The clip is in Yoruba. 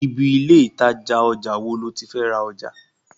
Ibi ilé ìtajà ojà wo lo ti fé ra ojà?